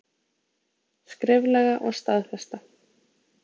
Skriflega og staðfesta.